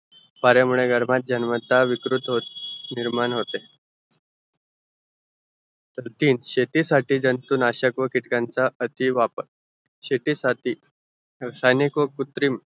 पारा मुळे गर्भात जन्मतः विकृत हो निर्माण होते शेतीसाठी जंतु नाशक कीटकांचा अति वापर शेतीसाठी रासायनिक व कृत्रिम